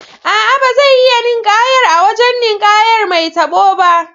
A'a, ba zai iya ninƙayar a wajen ninƙayar mai tabo ba.